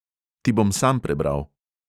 Ti bom sam prebral.